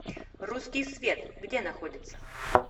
русский свет где находится